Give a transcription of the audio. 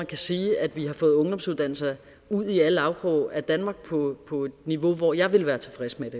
kan sige at vi har fået ungdomsuddannelser ud i alle afkroge af danmark på på et niveau hvor jeg vil være tilfreds med